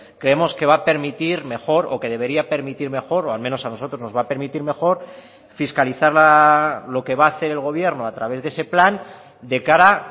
creemos que va a permitir mejor o que debería permitir mejor o al menos a nosotros nos va a permitir mejor fiscalizar lo que va a hacer el gobierno a través de ese plan de cara